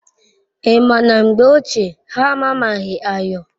I ma na mgbe ochie ha amamaghi ayo